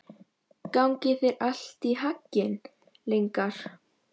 Gangi þér allt í haginn, Lyngar.